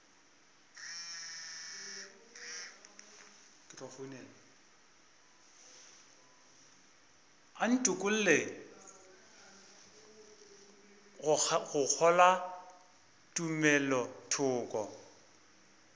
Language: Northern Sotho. a ntokolle go kgolwa tumelothoko